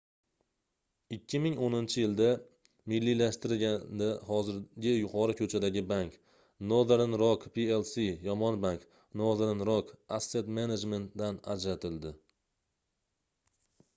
2010-yilda milliylashtirilganida hozirgi yuqori ko'chadagi bank — nothern rock plc yomon bank nothern rock asset management dan ajratildi